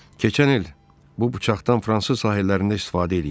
keçən il bu bıçaqdan fransız sahillərində istifadə eləyiblər.